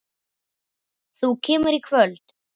Þú kemur í kvöld!